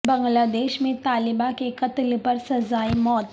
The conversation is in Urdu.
بنگلہ دیش میں طالبہ کے قتل پر سزائے موت